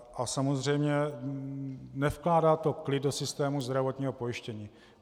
A samozřejmě nevkládá to klid do systému zdravotního pojištění.